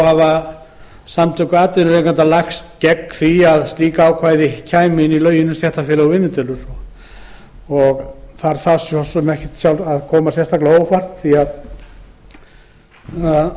hafa samtök atvinnurekenda lagst gegn því að slíkt ákvæði komi inn í lög um stéttarfélög og vinnudeilur það þarf ekki að koma á óvart því að